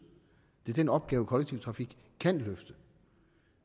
det er den opgave kollektiv trafik kan løfte